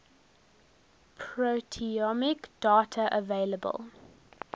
proteomic data available